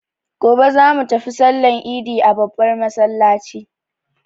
Gobe za mu tafi sallan idi a babbar masallaci.